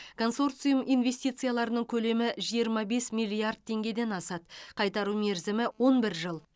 консорциум инвестицияларының көлемі жиырма бес миллиард теңгеден асады қайтару мерзімі он бір жыл